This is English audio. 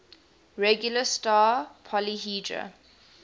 regular star polyhedra